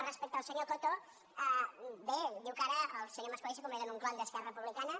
respecte al senyor coto bé diu que ara el senyor mas colell s’ha convertit en un clon d’esquerra republicana